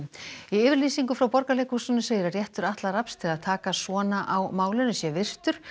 í yfirlýsingu frá Borgarleikhúsinu segir að réttur Atla Rafns til að taka svona á málinu sé virtur